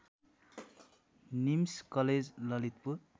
NIMS college Lalitpur